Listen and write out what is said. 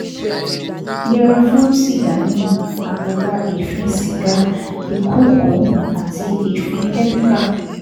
Yẹra fún sìgá mímu, àgàgà èéfín sìgá, ìkuukù, àti èéfín kẹ́míkà